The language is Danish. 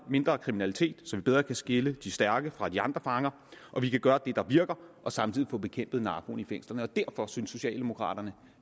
mindre kriminalitet så vi bedre kan skille de stærke fanger fra de andre fanger og vi kan gøre det der virker og samtidig få bekæmpet narkoen i fængslerne og derfor synes socialdemokraterne